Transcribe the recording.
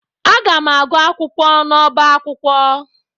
Aga m agụ akwụkwọ n'ọbá akwụkwọ.